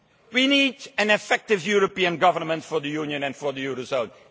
We need an effective European government for the Union, and for the Eurozone.